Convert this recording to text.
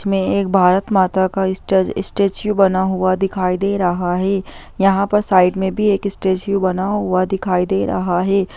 इसमें एक भारत माता का स्टे-स्टेचू बना हुआ दिखाई दे रहा है यहाँ पर साइड में भी एक स्टेचू बना हुआ दिखाई दे रहा है।